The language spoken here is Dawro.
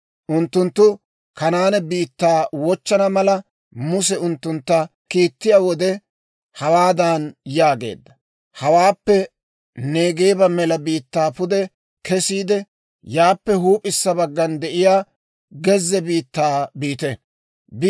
Unttunttu Kanaane biittaa wochchana mala, Muse unttuntta kiittiyaa wode hawaadan yaageedda; «Hawaappe Neegeeba mela biittaa pude kesiide, yaappe huup'issa baggan de'iyaa gezze biittaa biite.